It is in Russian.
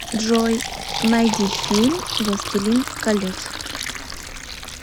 джой найди фильм властелин колец